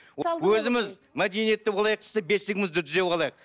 өзіміз мәдениетті болайық десек бесігімізді түзеп алайық